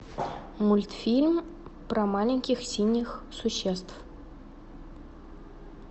мультфильм про маленьких синих существ